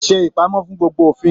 Se ipamọ fún gbogbo òfin!